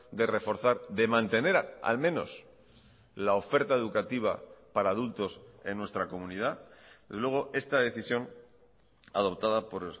de reforzar de mantener al menos la oferta educativa para adultos en nuestra comunidad desde luego esta decisión adoptada por